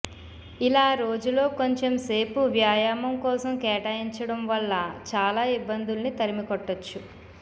ఇలా రోజులో కొంచెం సేపు వ్యాయామం కోసం కేటాయించడం వల్ల చాలా ఇబ్బందుల్ని తరిమికొట్టచ్చు